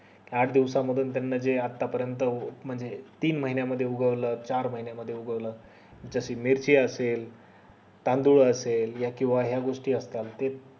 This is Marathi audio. आठ दिवसा मधून त्यांना जे आता पर्यंत म्हणजे तीन महिन्या मध्ये उगवलं चार महिन्या मध्ये उगवलं जस मेथी असेल तांदूळ असेल किव्हा या गोष्टी असतात ते